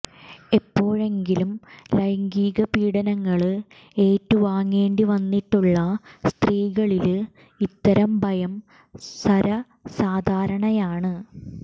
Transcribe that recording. എപ്പോഴെങ്കിലും ലൈംഗിക പീഡനങ്ങള് ഏറ്റു വാങ്ങേണ്ടി വന്നിട്ടുള്ള സ്ത്രീകളില് ഇത്തരം ഭയം സര്വസാധാരണയാണ്